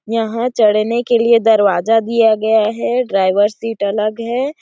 यहाँ चढ़ने के लिए दरवाजा दिया गया है ड्राइवर सीट अलग है।